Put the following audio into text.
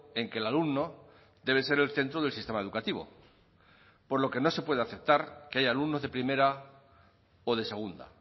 en que el alumno debe ser el centro del sistema educativo por lo que no se puede aceptar que haya alumnos de primera o de segunda